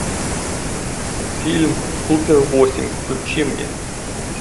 фильм супер восемь включи мне